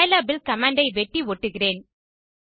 Scilab இல் command ஐ வெட்டி ஒட்டுகிறேன்